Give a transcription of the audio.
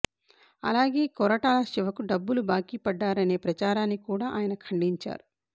అలాగే కొరటాల శివకు డబ్బులు బాకీ పడ్డారనే ప్రచారాన్ని కూడా ఆయన ఖండించారు